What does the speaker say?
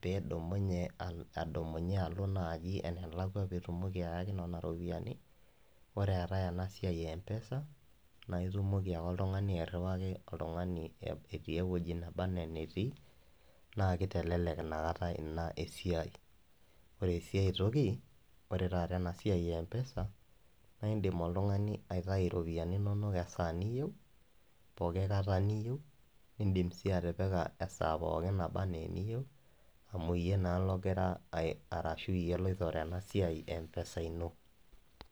peeidumunye adumunye alo enalakwa peeitumoki anototo iropiyiani. Ore eetai ena siai e M-Pesa naa ketumoki ake oltung'ani atoduaki oltung'ani enkoitoi etii ewueji nebanaa enetii naa keitelelek ina keta ake ina esiai ore sii ae toki ore taata ena siai e M-Pesa naindim oltung'ani aitayu iropiyiani inonok esaa enaa eniyieu poooki kata niyieu indiim sii atipik esaa pooki mebanaa amu iyie naa logira ashu iyie loitore ena siai empesa ino.